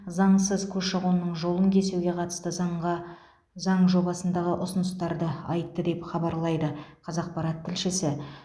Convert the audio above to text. заңсыз көші қонның жолын кесуге қатысты заңға заң жобасындағы ұсыныстарды айтты деп хабарлайды қазақпарат тілшісі